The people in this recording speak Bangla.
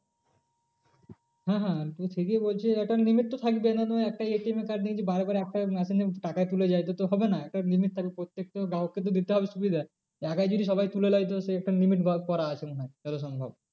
হ্যাঁ হ্যাঁ তুই ঠিকই বলছিস একটা limit তো থাকবেই না হলে একটা ATM এর card নিয়ে যদি বাড়ে বাড়ে একটা machine এ টাকা তুলে যায় এটা তো হবে না। একটা limit থাকবে প্রত্যেকটা গ্রাহকে তো দিতে হবে সুবিধা। একাই যদি সবাই তুলে নেয় তো সে একটা limit করা আছে মনে হয় যতটা সম্ভব।